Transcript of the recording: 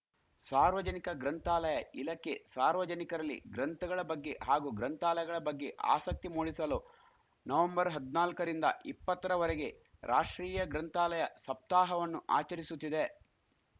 ಸಾರ್ವಜನಿಕ ಗ್ರಂಥಾಲಯ ಇಲಖೆ ಸಾರ್ವಜನಿಕರಲ್ಲಿ ಗ್ರಂಥಗಳ ಬಗ್ಗೆ ಹಾಗೂ ಗ್ರಂಥಾಲಯಗಳ ಬಗ್ಗೆ ಆಸಕ್ತಿ ಮೂಡಿಸಲು ನವಂಬರ್ ಹದಿನಾಲ್ಕ ರಿಂದ ಇಪ್ಪತ್ತರವರೆಗೆ ರಾಷ್ಟ್ರೀಯ ಗ್ರಂಥಾಲಯ ಸಪ್ತಾಹವನ್ನು ಆಚರಿಸುತ್ತಿದೆ